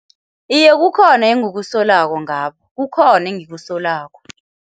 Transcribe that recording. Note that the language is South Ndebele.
Iye, kukhona engikusolako ngabo, kukhona engikusolako.